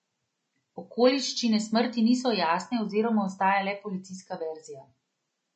Okoliščine smrti niso jasne oziroma ostaja le policijska verzija.